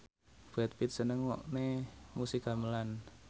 Brad Pitt seneng ngrungokne musik gamelan